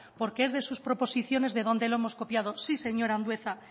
porque es de sus proposiciones de donde lo hemos copiado sí señor andueza